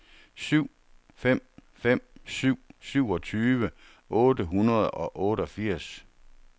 syv fem fem syv syvogtyve otte hundrede og otteogfirs